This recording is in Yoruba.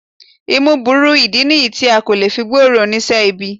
Imú burú, ìdí nìyí tí a kò fi lè gbóòórùn oníṣẹ́ ibi